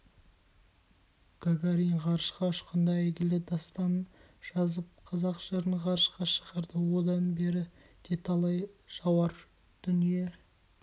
гагарин ғарышқа ұшқанда әйгілі дастанын жазып қазақ жырын ғарышқа шығарды одан бері де талай жауар дүние